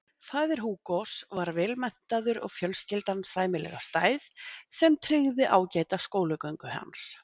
Faðir Hugos var vel menntaður og fjölskyldan sæmilega stæð sem tryggði ágæta skólagöngu hans.